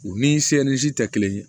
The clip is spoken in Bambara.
U ni se ni si tɛ kelen ye